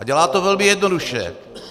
A dělá to velmi jednoduše.